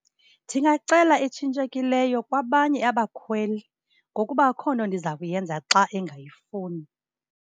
Ndingacela etshintshekileyo kwabanye abakhweli ngokuba akukho nto ndiza kuyenza xa engayifuni.